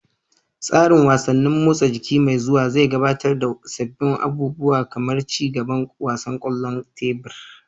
Tsarin wasannin motsa jiki mai zuwa zai gabatar da sabbin abubuwa kamar ci gaban wasan kwallon tebur.